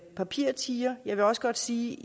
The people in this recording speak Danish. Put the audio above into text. papirtiger jeg vil også godt sige